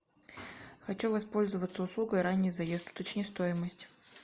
хочу воспользоваться услугой ранний заезд уточни стоимость